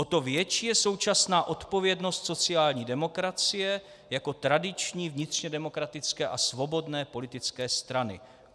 O to větší je současná odpovědnost sociální demokracie jako tradiční vnitřně demokratické a svobodné politické strany.